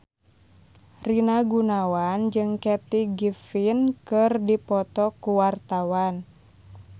Rina Gunawan jeung Kathy Griffin keur dipoto ku wartawan